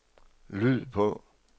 lyd på